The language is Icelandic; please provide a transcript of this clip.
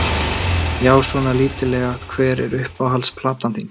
Já, svona lítillega Hver er uppáhalds platan þín?